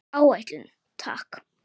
Áætlun, takk.